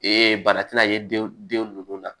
bana tɛna ye den den ninnu na